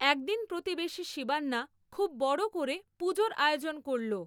একদিন প্রতিবেশী শিবান্না খুব বড় করে পুজোর আয়োজন করল।